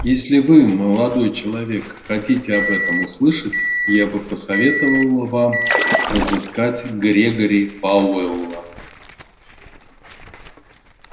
если вы молодой человек хотите об этом услышать я бы посоветовала вам разыскать грегори пауэлла